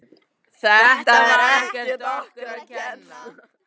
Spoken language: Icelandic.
Þetta var ekkert okkur að kenna.